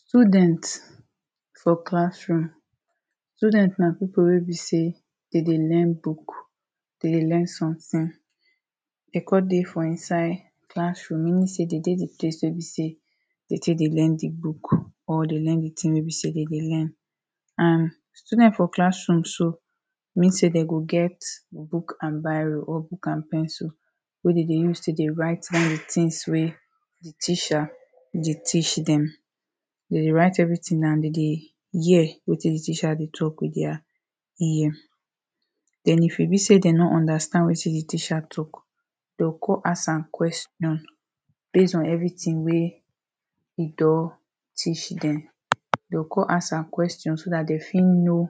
student for class room student na people wey be say they de learn book they de learn something de come de for inside classroom meaning say they de the place wey be say they take de learn the book or the learn the thing wey be say they de learn and student for class room so mean say them go get book and biro or book and pen so wey they de use take de write all the things wey teacher de teach them they de write everything and they de hear wetin the teacher de talk with their ear. And if e be say they no understand wetin the teacher talk they go go ask am question base on everything wey they don teach them they go go ask am question so that they fit know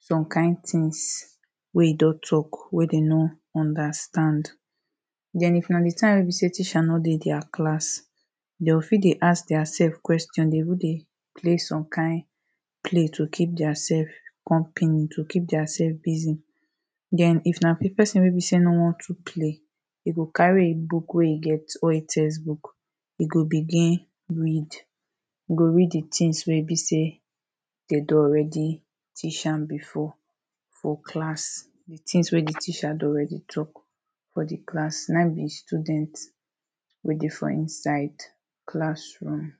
some kind things where you dot chalk wey them no understand then if na the time wey be say teacher no dey their class they go fit dey ask theirself question, they go de play some kind play to keep theirself company, to keep theirself busy then if na big person wey be say no wan too play e go carry a book wey e get or a textbook e go begin read he go read the things wey be say they don already teach am before for class the things wey the teacher don already talk for the class na ehm the student wey de for inside classroom.